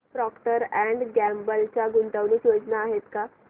Procter and Gamble च्या गुंतवणूक योजना आहेत का